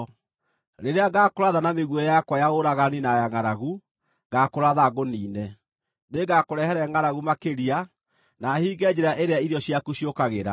Rĩrĩa ngaakũratha na mĩguĩ yakwa ya ũragani na ya ngʼaragu, ngaakũratha ngũniine. Nĩngakũrehere ngʼaragu makĩria, na hinge njĩra ĩrĩa irio ciaku ciũkagĩra.